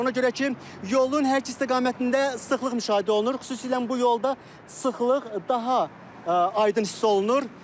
Ona görə ki, yolun hər iki istiqamətində sıxlıq müşahidə olunur, xüsusilə bu yolda sıxlıq daha aydın hiss olunur.